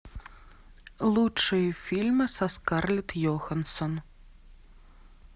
лучшие фильмы со скарлетт йоханссон